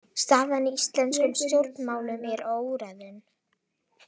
Staðan í íslenskum stjórnmálum er óráðin